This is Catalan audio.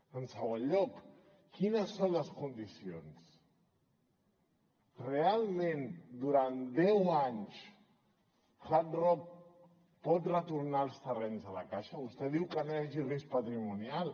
en segon lloc quines són les condicions realment durant deu anys hard rock pot retornar els terrenys a la caixa vostè diu que no hi hagi risc patrimonial